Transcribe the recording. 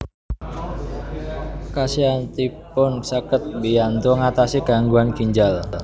Khasiatipun saged mbiyantu ngatasi gangguan ginjal